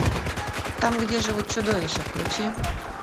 там где живут чудовища включи